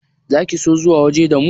Za ki so zuwa waje da mu?